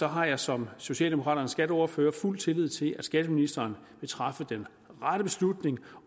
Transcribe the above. har jeg som socialdemokraternes skatteordfører fuld tillid til at skatteministeren vil træffe den rette beslutning